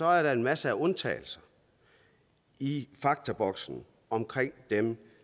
er en masse undtagelser i faktaboksen omkring dem